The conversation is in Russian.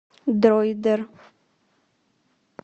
дроидер